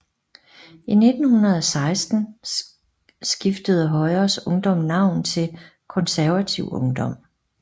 I 1916 skiftede Højres Ungdom navn til Konservativ Ungdom